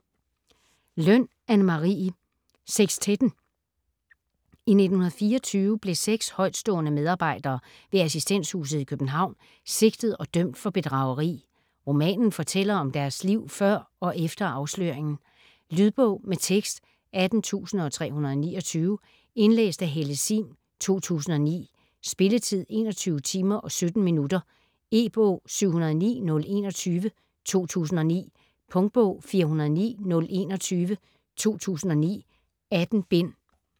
Løn, Anne Marie: Sekstetten I 1924 blev seks højtstående medarbejdere ved Assistenshuset i København sigtet og dømt for bedrageri. Romanen fortæller om deres liv før og efter afsløringen. Lydbog med tekst 18329 Indlæst af Helle Sihm, 2009. Spilletid: 21 timer, 17 minutter. E-bog 709021 2009. Punktbog 409021 2009. 18 bind.